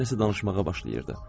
Mənə nəsə danışmağa başlayırdı.